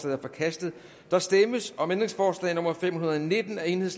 er forkastet der stemmes om ændringsforslag nummer fem hundrede og nitten af el